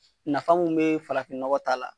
Nafa mun be farafin nɔgɔ ta la